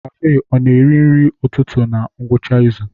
Kafe a ọ na-eri nri ụtụtụ na ngwụcha izu?